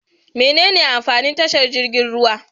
Mene amfanin tashar jirgin ruwa?